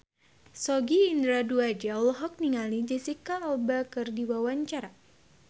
Sogi Indra Duaja olohok ningali Jesicca Alba keur diwawancara